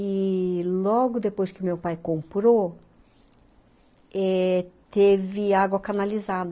E logo depois que meu pai comprou eh, teve água canalizada.